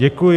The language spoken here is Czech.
Děkuji.